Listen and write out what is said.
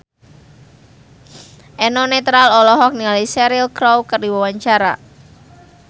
Eno Netral olohok ningali Cheryl Crow keur diwawancara